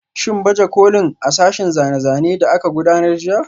Shin baje kolin a sashen zane-zane da aka gudanar jiya?